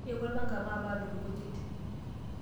Yau olpanga, maape aadung' nkujit.